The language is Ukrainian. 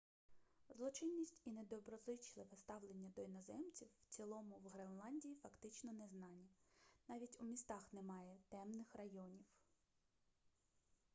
злочинність і недоброзичливе ставлення до іноземців в цілому в гренландії фактично незнані навіть у містах немає темних районів